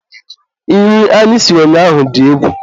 nri anyị siri ụnyaahụ dị egwu.